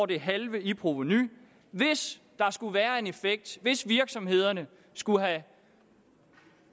det halve i provenu hvis der skulle være en effekt hvis virksomhederne skulle have